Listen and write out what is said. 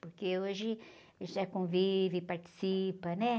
Porque hoje já convive, participa, né?